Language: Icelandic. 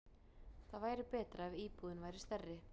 Það væri betra ef íbúðin væri stærri.